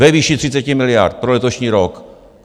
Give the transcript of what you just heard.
Ve výši 30 miliard pro letošní rok.